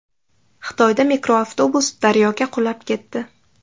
Xitoyda mikroavtobus daryoga qulab ketdi.